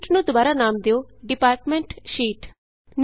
sheet ਨੂੰ ਦੁਬਾਰਾ ਨਾਮ ਦਿਉ ਡਿਪਾਟਮੈਂਟ ਸ਼ੀਟ ਡਿਪਾਰਟਮੈਂਟ ਸ਼ੀਟ